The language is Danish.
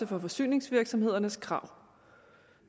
for forsyningsvirksomhedernes krav